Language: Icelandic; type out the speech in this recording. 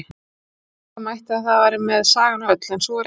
Ætla mætti að þar með væri sagan öll, en svo er ekki.